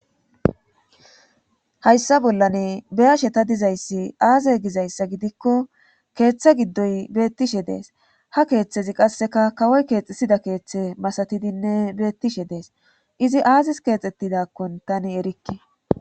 hayssa bollane beyashe ta dizayssi aaze gizayssa gidikko keeththe giddoy beettishe dees ha keeththezi qasseka kawoy keexisida keeththe masatidinne beettishe dees izi aazis keexettidakkon tani erikke